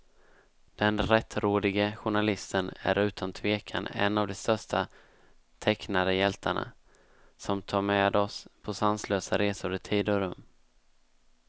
Den rättrådige journalisten är utan tvekan en av de största tecknade hjältarna, som tar med oss på sanslösa resor i tid och rum.